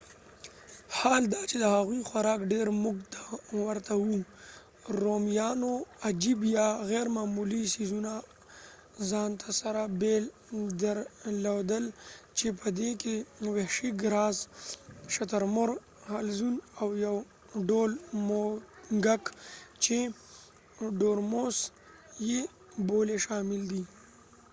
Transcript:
حال دا چې د هغوی خوراک ډیر مونږ ته ورته وو رومیانو عجیب یا غیرمعمولي ځیزونه ځانته سره بیل درلودل چې په دې کې وحشي ګراز شترمرغ حلزون او یو ډول موږک چې ډورموس یې بولي شامل دي